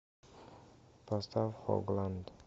поставь хогланд